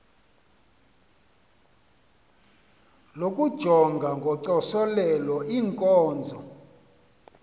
lokujonga ngocoselelo iinkonzo